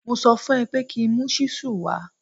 Mo sọ fún un ẹ pé kí mu ṣíṣù wa